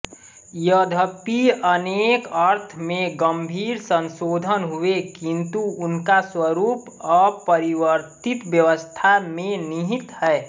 यद्यपि उनके अर्थ में गंभीर संशोधन हुए किंतु उनका स्वरूप अपरिवर्तित व्यवस्था में निहित है